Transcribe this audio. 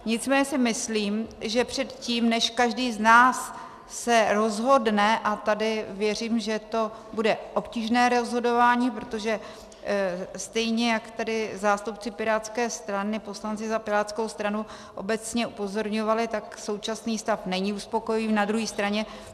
Nicméně si myslím, že předtím, než každý z nás se rozhodne - a tady věřím, že to bude obtížné rozhodování, protože stejně jak tady zástupci pirátské strany, poslanci za pirátskou stranu, obecně upozorňovali, tak současný stav není uspokojivý.